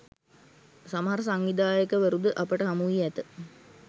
සමහර සංවිධායකවරුද අපට හමුවී ඇත